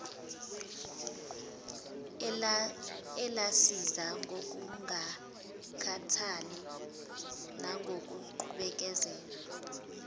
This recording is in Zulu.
elasiza ngokungakhathali nangokubekezela